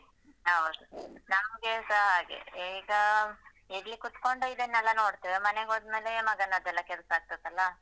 ಹೌದು ನಮ್ಗೇಸ ಹಾಗೆ ಈಗ ಇಲ್ಲಿ ಕೂತ್ಕೊಂಡು ಇದನ್ನೆಲ್ಲ ನೋಡ್ತೇವೆ ಮನೆಗೋದ್ಮೇಲೆ ಮಗನದ್ದೆಲ್ಲ ಕೆಲ್ಸ ಆಗ್ತತ್ದಲ್ಲ?